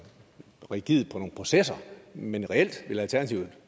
rigidt i nogle processer men reelt vil alternativet